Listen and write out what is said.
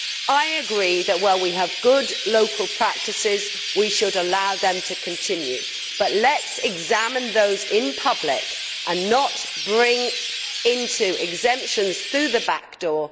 I agree that, where we have good local practices, we should allow them to continue, but let us examine those in public and not bring in exemptions through the back door.